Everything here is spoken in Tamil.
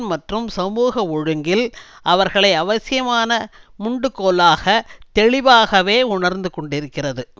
மற்றும் சமூக ஒழுங்கில் அவர்களை அவசியமான முண்டுகோலாக தெளிவாகவே உணர்ந்துகொண்டிருக்கிறது